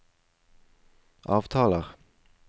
avtaler